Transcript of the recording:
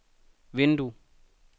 vindue